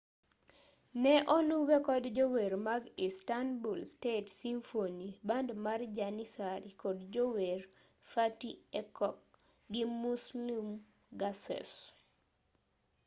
ne oluwe kod jower mag istanbul state symphony band mar janissary kod jower fatih erkoc gi muslum gurses